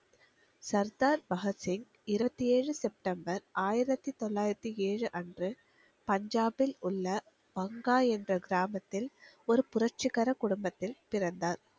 சர்தார் பகத்சிங் இருபத்தி ஏழு செப்டம்பர் ஆயிரத்தி தொள்ளாயிரத்தி ஏழு அன்று பஞ்சாபில் உள்ள பங்கா என்ற கிராமத்தில் ஒரு புரட்சிகர குடும்பத்தில் பிறந்தார்